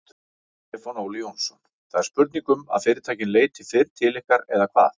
Stefán Óli Jónsson: Það er spurning um að fyrirtækin leiti fyrr til ykkar eða hvað?